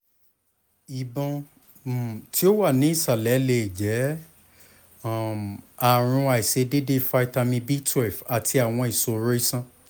ibọn um ti o wa ni isalẹ le jẹ um aarun aiṣedede vitamin b twelve ati awọn iṣoro iṣan